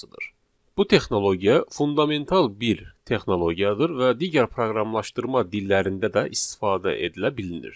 Bu texnologiya fundamental bir texnologiyadır və digər proqramlaşdırma dillərində də istifadə edilə bilinir.